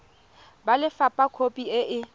ba lefapha khopi e e